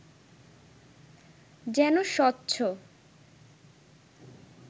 যেন স্বচ্ছ